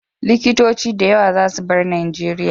Likitoci da yawa za su bar Nijeria